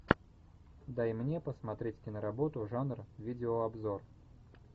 дай мне посмотреть киноработу жанр видеообзор